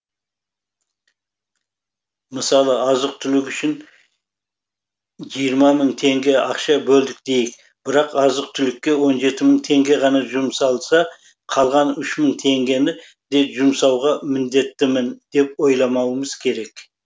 мысалы азық түлік үшін жиырма мың теңге ақша бөлдік дейік бірақ азық түлікке он жеті мың теңге ғана жұмсалса қалған үш мың теңгені де жұмсауға міндеттімін деп ойламауымыз керек